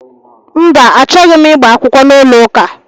Mba, achọghị m ịgba akwụkwọ n'ụlọụka